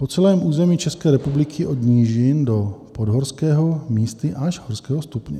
Po celém území České republiky od nížin do podhorského, místy až horského stupně.